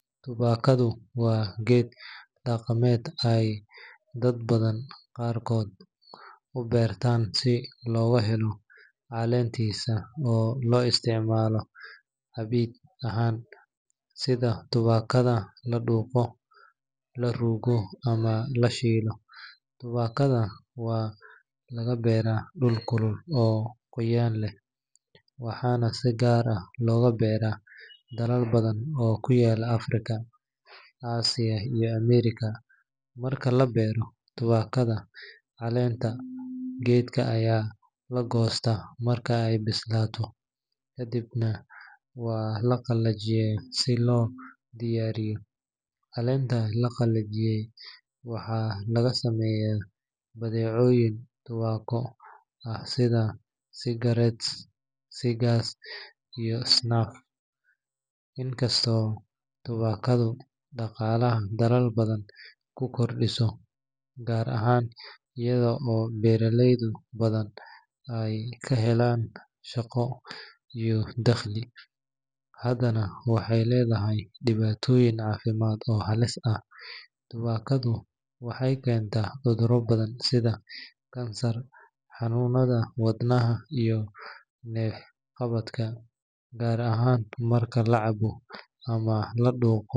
Tubaakadu waa geed dhaqameed ay dadka qaarkood u beertaan si looga helo caleentiisa oo loo isticmaalo cabbid ahaan, sida tubaakada la dhuuqo, la ruugo ama la shiido. Tubaakada waxaa laga beeraa dhul kulul oo qoyaan leh, waxaana si gaar ah looga beeraa dalal badan oo ku yaal Afrika, Aasiya iyo Ameerika. Marka la beero tubaakada, caleenta geedka ayaa la goostaa marka ay bislaato, kadibna waa la qalajiyaa si loo diyaariyo. Caleenta la qalajiyay waxaa laga sameeyaa badeecooyin tubaako ah sida cigarettes, cigars, iyo snuff. Inkastoo tubaakadu dhaqaalaha dalal badan ku kordhiso, gaar ahaan iyada oo beeraley badan ay ka helaan shaqo iyo dakhli, haddana waxay leedahay dhibaatooyin caafimaad oo halis ah. Tubaakadu waxay keentaa cudurro badan sida kansarka, xanuunada wadnaha, iyo neef-qabadka, gaar ahaan marka la cabo ama la dhuuqo.